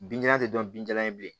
Binjalan tɛ dɔn binjalan ye bilen